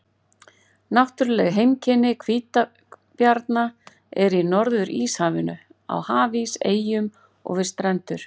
Náttúruleg heimkynni hvítabjarna eru í Norður-Íshafinu, á hafís, eyjum og við strendur.